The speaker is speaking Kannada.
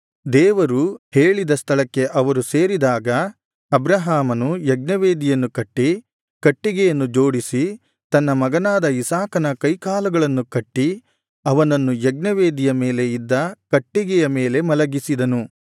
ದೇವರು ಹೇಳಿದ ಸ್ಥಳಕ್ಕೆ ಅವರು ಸೇರಿದಾಗ ಅಬ್ರಹಾಮನು ಯಜ್ಞವೇದಿಯನ್ನು ಕಟ್ಟಿ ಕಟ್ಟಿಗೆಯನ್ನು ಜೋಡಿಸಿ ತನ್ನ ಮಗನಾದ ಇಸಾಕನ ಕೈಕಾಲುಗಳನ್ನು ಕಟ್ಟಿ ಅವನನ್ನು ಯಜ್ಞವೇದಿಯ ಮೇಲೆ ಇದ್ದ ಕಟ್ಟಿಗೆಯ ಮೇಲೆ ಮಲಗಿಸಿದನು